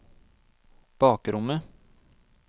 bakrommet